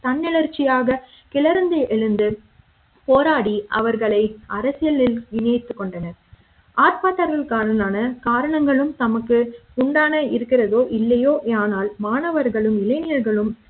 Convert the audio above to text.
தன்னெழுற்சியாக கிளர்ந்து எழுந்துபோராடி அவர்களை அரசியலில் இணைத்துக் கொண்டனர் ஆர்ப்பாட்டகாரர்கள்லான காரணங்களும் தமக்கு உண்டான இருக்கிறதோ இல்லையோ ஆனால் மாணவர்களும் இளைஞர்களும்